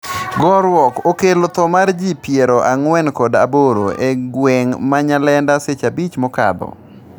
gorruok okello tho mar ji piero ang'wen kod aboro e gweng' ma Nyalenda seche abich mokadho